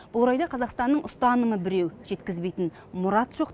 бұл орайда қазақстанның ұстанымы біреу жеткізбейтін мұрат жоқ